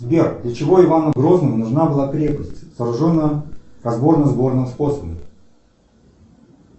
сбер для чего ивану грозному нужна была крепость сооруженная разборно сборным способом